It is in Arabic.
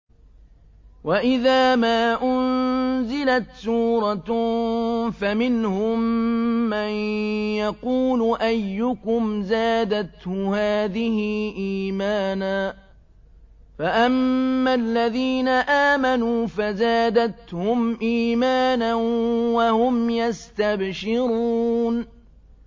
وَإِذَا مَا أُنزِلَتْ سُورَةٌ فَمِنْهُم مَّن يَقُولُ أَيُّكُمْ زَادَتْهُ هَٰذِهِ إِيمَانًا ۚ فَأَمَّا الَّذِينَ آمَنُوا فَزَادَتْهُمْ إِيمَانًا وَهُمْ يَسْتَبْشِرُونَ